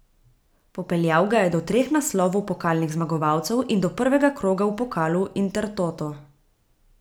Popeljal ga je do treh naslovov pokalnih zmagovalcev in do prvega kroga v pokalu Intertoto.